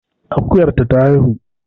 Akuyar ta ta haihu